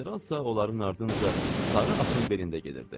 General isə onların ardınca sarı atın belində gedirdi.